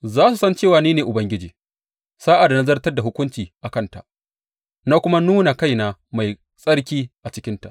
Za su san cewa ni ne Ubangiji, sa’ad da na zartar da hukunci a kanta na kuma nuna kaina mai tsarki a cikinta.